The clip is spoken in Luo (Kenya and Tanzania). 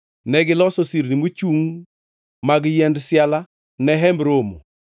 Negiloso sirni mochungʼ mag yiend siala ne Hemb Romo.